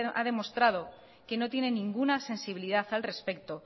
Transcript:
ha demostrado que no tiene ninguna sensibilidad al respecto